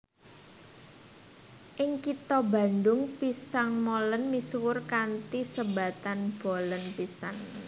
Ing kitha Bandung pisang molen misuwur kanthi sebatan bolen pisang